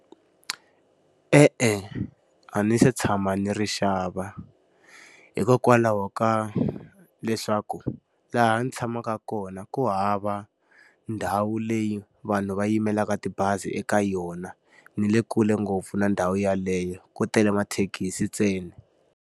E-e a ndzi se tshama ni ri xava. Hikokwalaho ka leswaku laha ndzi tshamaka kona ku hava ndhawu leyi vanhu va yimelaka tibazi eka yona, ndzi le kule ngopfu na ndhawu yeleyo. Ku tele mathekisi ntsena.